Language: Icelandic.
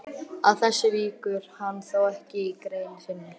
Að þessu víkur hann þó ekki í grein sinni.